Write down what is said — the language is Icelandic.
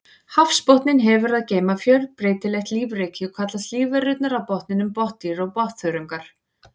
Hafsbotninn hefur að geyma fjölbreytilegt lífríki og kallast lífverurnar á botninum botndýr og botnþörungar.